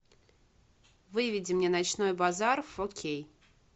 выведи мне ночной базар фо кей